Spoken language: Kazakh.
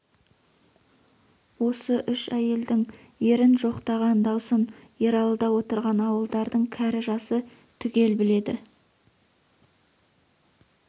осы үш әйелдің ерін жоқтаған даусын ералыда отырған ауылдардың кәрі-жасы түгел біледі